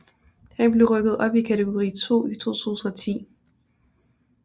Han blev rykket op i kategori 2 i 2010